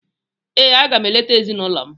Ee, aga m eleta ezinụlọ m.